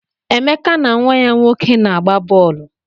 Emeka na nwa ya nwoke na-agba bọọlụ.